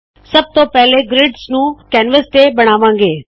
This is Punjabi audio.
ਸਬ ਤੋ ਪਹਿਲੇ ਗ੍ਰਿਡਸ ਨੂ ਕੈਨਵਸ ਤੇ ਬਨਾਵਾੰ ਗੇ